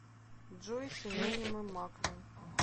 джой синонимы маквин